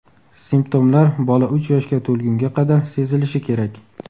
Simptomlar bola uch yoshga to‘lgunga qadar sezilishi kerak.